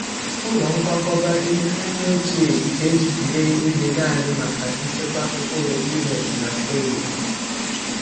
Ụlọ nkwakọba ihe anyị ochie e ji mee ihe naanị maka nchekwa mkpụrụ millet na sorghum.